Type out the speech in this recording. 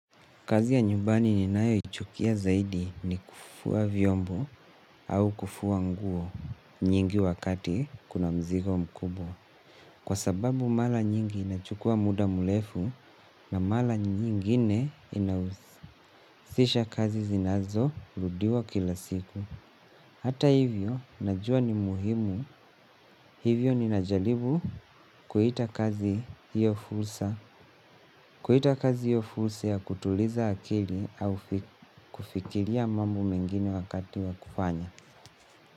Kazi ya nyumbani ni nayo ichukia zaidi ni kufua vyombo au kufua nguo nyingi wakati kuna mzigo mkubo. Kwa sababu mala nyingi inachukua muda mulefu na mala nyingine inauhisisha kazi zinazo ludiwa kila siku. Hata hivyo, najua ni muhimu. Hivyo ni najalibu kuhita kazi hiyo fulsa. Kuita kazi yo fuuse ya kutuliza akili au kufikilia mambo mengini wakati wakufanya.